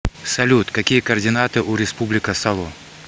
салют какие координаты у республика сало